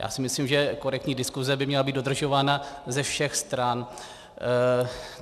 Já si myslím, že korektní diskuse by měla být dodržována ze všech stran.